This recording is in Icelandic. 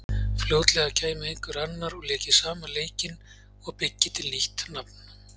Fljótlega kæmi einhver annar og léki sama leikinn og byggi til nýtt nafn.